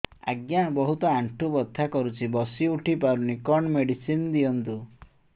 ଆଜ୍ଞା ବହୁତ ଆଣ୍ଠୁ ବଥା କରୁଛି ବସି ଉଠି ପାରୁନି କଣ ମେଡ଼ିସିନ ଦିଅନ୍ତୁ